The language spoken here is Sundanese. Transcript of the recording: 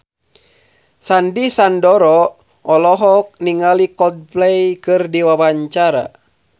Sandy Sandoro olohok ningali Coldplay keur diwawancara